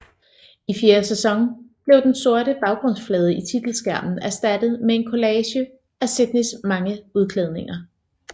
I fjerde sæson blev den sorte baggrundsflade i titelskærmen erstattet med en kollage af Sydneys mange udklædninger